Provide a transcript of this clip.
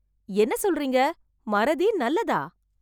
என்ன சொல்றீங்க... மறதி நல்லதா...